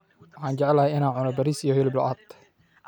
Waxaan jeclahay in aan cuno bariis iyo hilib lo'aad